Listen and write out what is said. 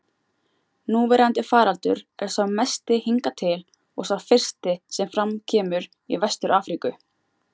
Núverandi faraldur er sá mesti hingað til og sá fyrsti sem fram kemur í Vestur-Afríku.